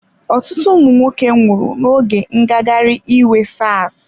Ọtụtụ ụmụ nwoke nwụrụ n'oge ngagharị iwe Sars.